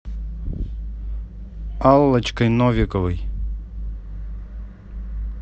аллочкой новиковой